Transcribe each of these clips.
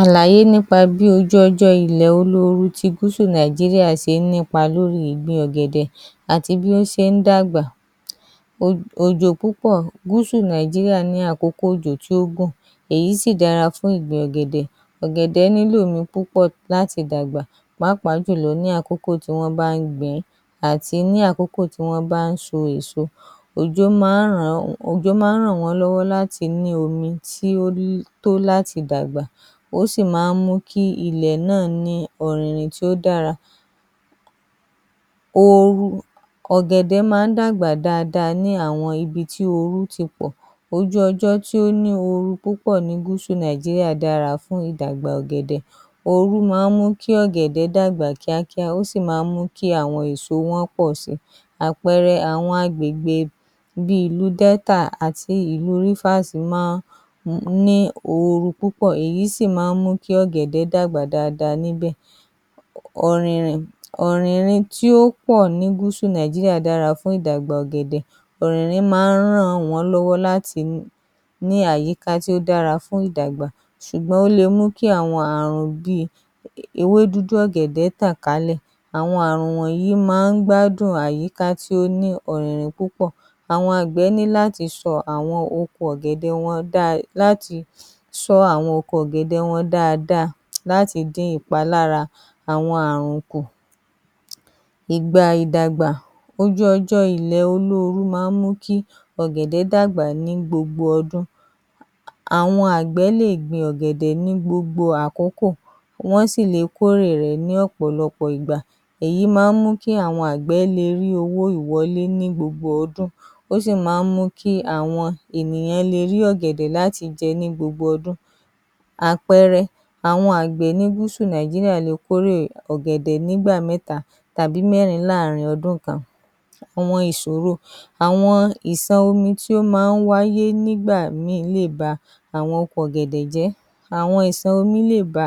Àlàyé nípa bí ojú ọjọ́ ilẹ̀ olóoru Gúúsù Nàìjíríà ṣe ń nípa lórí ìgbin ọ̀gẹ̀dẹ̀ àti bí ó ṣe ń dàgbà, òjò púpọ̀; Gúúsù Nàìjíríà ní àkókò òjò tí ó gùn, èyí sì dára fún ìgbin ọ̀gẹ̀dẹ̀, ọ̀gẹ̀dẹ̀ nílò omi púpọ̀ láti dàgbà pàápàá jù lọ ní àkókò tí wọ́n ń bá ń gbìn ín àti ní àkókò tí wọ́n ń bá ń so èso, òjò máa ń ràn wọ́n lọ́wọ́ láti ní omi tí ó tó láti dàgbà ó sì máa ń mú kí ilẹ̀ náà ní ọ̀rìnrìn tó dára. Ooru; ọ̀gẹ̀dẹ̀ máa ń dàgbà dáadáa ní àwọn ibi tí ooru ti pọ̀, ojú ọjọ́ tó ní ooru púpọ̀ ní gúúsù Nàìjíríà dára fún ìdàgbà ọ̀gẹ̀dẹ̀, ooru máa ń mú kí ọ̀gẹ̀dẹ̀ dàgbà kíákíá ó sì máa ń mú kí èso wọn pọ̀ sí i, àpẹẹrẹ àwọn àgbègbè bíi ìlú Delta àti ìlú Rivers máa ń ní ooru púpọ̀, èyí sì máa ń mú kí ọ̀gẹ̀dẹ̀ dàgbà dáa dáa níbẹ̀. ‎Ọ̀rìnrin; ọ̀rìnrìn tí ó pọ̀ ní Gúúsù Nàìjíríà dára fún ìdàgbà ọ̀gẹ̀dẹ̀, ọ̀gẹ̀dẹ̀ máa ràn wọ́n lọ́wọ́ láti ní àyíká tó dára fún ìdàgbà ṣùgbọ́n ó le mú kí àwọn irúfẹ̀ àrùn bíi ewé dúdú ọ̀gẹ̀dẹ̀ tàn kálẹ̀, àwọn àrùn wọ̀nyí máa ń gbádùn àyíká tó ní ọ̀rìnrìn púpọ̀, àwọn àgbẹ̀ ní láti sọ́ àwọn oko ọ̀gẹ̀dẹ̀ wọn dáadáa láti dín àwọn ìpalára àwọn àrùn kù, ìgbà ìdàgbà ojú ọjọ́ ilẹ̀ olóoru máa ń mú kí ọ̀gẹ̀dẹ̀ dàgbà ní gbogbo ọjọ́, àwọn àgbẹ̀ lè gbin ọ̀gẹ̀dẹ̀ ní gbogbo àkókò, wọ́n sì lè kórè rẹ ní ọ̀pọ̀lọpọ̀ ìgbà, èyí máa ń mú kí àwọn àgbẹ̀ le ní owó ìwọlé ní gbogbo ọdún, ó sì máa ń mú kí àwọn ènìyàn le rí ọ̀gẹ̀dẹ̀ jẹ ní gbogbo ọdún, àpẹẹrẹ, àwọn àgbẹ̀ ní gúúsù Nàìjíríà le kórè ọ̀gẹ̀dẹ̀ nígbà mẹ́ta tàbí mẹ́rin ní ọdún kan. Àwọn ìṣòro, àwọn ìṣàn omi tí ó máa ń wáyé nígbà míì lè ba oko ọ̀gẹ̀dẹ̀ jẹ́ àwọn ìṣàn omi lè ba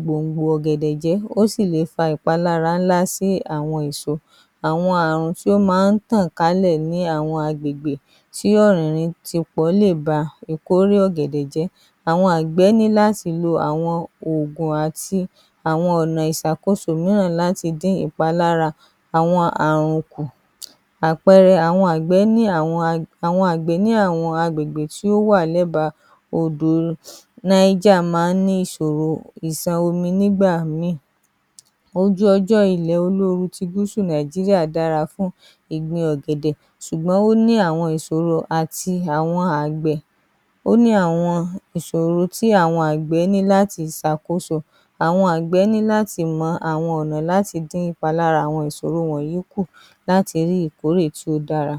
gbòǹgbò ọ̀gẹ̀dẹ̀ jẹ́, ó sì le fà ìpalára ńlá sí àwọn èso,, àwọn àrùn tó máa ń tàn kálẹ̀ ni àwọn agbègbè tí ọ̀rìnrìn lè ba ìtọ́wò ọ̀gẹ̀dẹ̀ jẹ́, àwọn àgbẹ̀ ní láti lọ àwọn Ògùn àti àwọn ọ̀nà ìṣàkóso mìíràn láti dín ìpalára àwọn àrùn kù, àpẹẹrẹ àwọn àgbẹ̀ ní àwọn àgbègbè tó wà lẹ́ba odò Naija máa ń ní ìṣòro ìṣàn omi nígbà mìíràn, ojú ọjọ́, ilẹ̀ olóoru ti Gúsù Nàìjíríà dára fún ìgbin ọ̀gẹ̀dẹ̀ ṣùgbọ́n ó ní àwọn ìṣòro àti àwọn àgbẹ̀, ó ní àwọn ìṣòro tí àwọn àgbẹ̀ ní láti ṣàkóso, àwọn àgbẹ̀ ní láti mọ àwọn ọ̀nà láti dín ìpalára àwọn ìṣòro wọ̀nyí kù láti rí ìkórè tó dára.